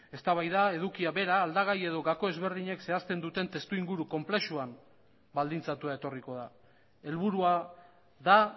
eztabaida edukia bera aldagai edo gako ezberdinek zehazten duten testuinguru konplexuan baldintzatua etorriko da helburua da